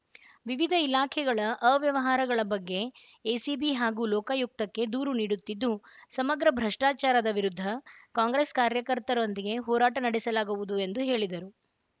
ವಿವಿಧ ಇಲಾಖೆಗಳ ಅವ್ಯವಹಾರಗಳ ಬಗ್ಗೆ ಎಸಿಬಿ ಹಾಗೂ ಲೋಕಾಯುಕ್ತಕ್ಕೆ ದೂರು ನೀಡುತ್ತಿದ್ದು ಸಮಗ್ರ ಭ್ರಷ್ಟಾಚಾರದ ವಿರುದ್ಧ ಕಾಂಗ್ರೆಸ್‌ ಕಾರ್ಯಕರ್ತರೊಂದಿಗೆ ಹೋರಾಟ ನಡೆಸಲಾಗುವುದು ಎಂದು ಹೇಳಿದರು